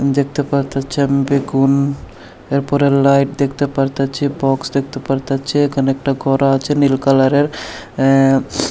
দেখতে পারতাছি আমি বেগুন এরপরে লাইট দেখতে পারতাছি বক্স দেখতে পারতাছি এখানে একটা ঘরও আছে নীল কালারের অ্যা --